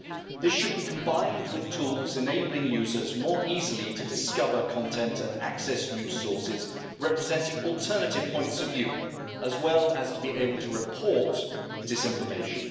This should be combined with tools enabling users more easily to discover content and access new sources representing alternative points of view, as well as to be able to report disinformation.